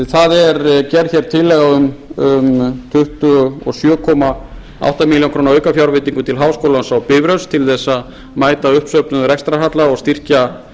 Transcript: það er gerð hér tillaga um tuttugu og sjö komma átta milljónir króna aukafjárveitingu til háskólans á bifröst til að mæta uppsöfnuðum rekstrarhalla og styrkja